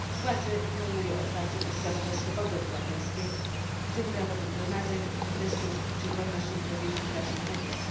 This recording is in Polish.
Władze otwarcie ignorują podstawowe swobody obywatelskie, w tym prawo do zgromadzeń, protestów czy wolności wypowiedzi w prasie i mediach.